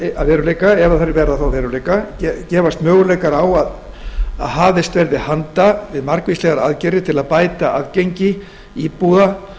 að veruleika þá gefast möguleikar á að hafist verði handa við margvíslegar aðgerðir til að bæta aðgengi íbúa